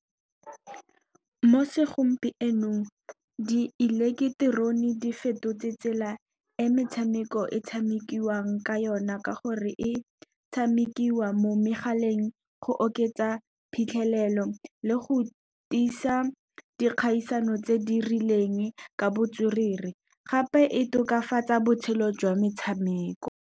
Mo segompienong di eleketerone di fetotse tsela e metshameko e tshamekiwang ka yona, ka gore e tshamekiwa mo megaleng. Go oketsa phitlhelelo le go tiisa dikgaisano tse di rileng ka botswerere, gape e tokafatsa botshelo jwa metshameko.